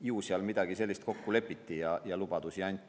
Ju seal midagi sellist kokku lepiti ja mingeid lubadusi anti.